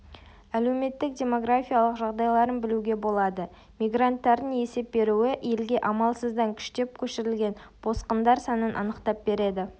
әлеуметтік-демографиялық жағдайларын білуге болады мигранттардың есеп беруі елге амалсыздан күштеп көшірілген босқындар санын анықтап береді